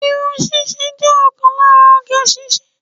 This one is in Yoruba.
Irun ṣíṣe jẹ́ ọ̀kan lára oge ṣíṣe